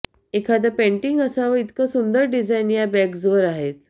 एखादं पेंटिंग असावं इतकं सुंदर डिझाइन या बॅग्सवर आहेत